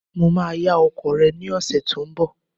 Mo máa yá ọkọ̀ rẹ ní ọ̀sẹ̀ tó ń bọ̀.